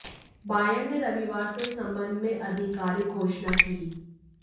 Bayern ने रविवार को इस सम्बंध में आधारिकारिक घोषणा की